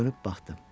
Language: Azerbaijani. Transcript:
Dönüb baxdım.